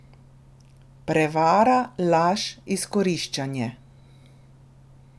Prevara, laž, izkoriščanje.